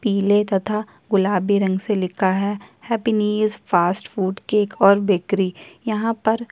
पीले तथा गुलाबी रंग से लिखा है हैप्पीनिज फास्ट फूड केक और बेकरी --